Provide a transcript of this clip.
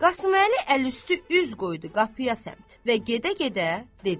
Qasım Əli əlüstü üz qoydu qapıya səmt və gedə-gedə dedi.